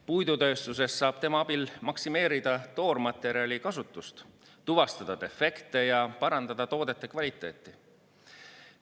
Puidutööstuses saab tema abil maksimeerida toormaterjali kasutust, tuvastada defekte ja parandada toodete kvaliteeti.